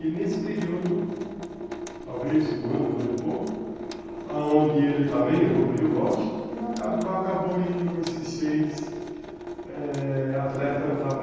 E nesse período, talvez um ano, um ano e pouco, aonde ele também evoluiu, lógico, e acabou indo esses seis eh atletas lá para